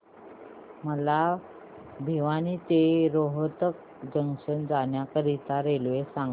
मला भिवानी ते रोहतक जंक्शन जाण्या करीता रेल्वे सांगा